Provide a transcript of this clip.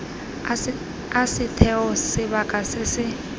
a setheo sebaka se se